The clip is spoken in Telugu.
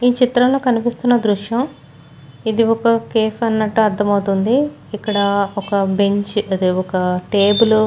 ఈ చిత్రంలో కనిపిస్తున్న దృశ్యం ఇది ఒక కేఫ్ అన్నట్టు అర్ధమైవుతుంది ఇక్కడ ఒక బెంచ్ అదే ఒక టేబుల్ లు.